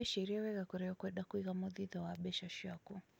wĩcirie wega kůria ukwenda kũĩga muthithũ wa mbeca ciakũ